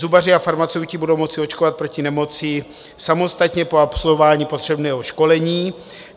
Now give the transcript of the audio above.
Zubaři a farmaceuti budou moci očkovat proti nemoci samostatně po absolvování potřebného školení.